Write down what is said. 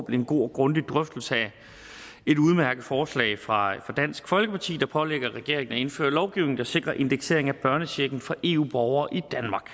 en god og grundig drøftelse af et udmærket forslag fra dansk folkeparti der pålægger regeringen at indføre lovgivning der sikrer indeksering af børnechecken for eu borgere i